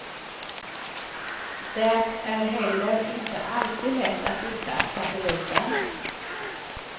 Det är heller inte alltid lätt att hitta satelliten.